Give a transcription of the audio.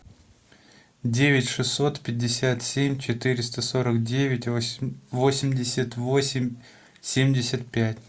девять шестьсот пятьдесят семь четыреста сорок девять восемьдесят восемь семьдесят пять